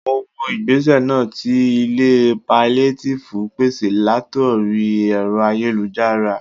Mo wo igbese náà tí ilé paliatifu pèsè latori ẹ̀rọ ayélujára